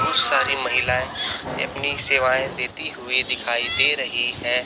बहुत सारी महिलाएं अपनी सेवाएं देती हुई दिखाई दे रही है।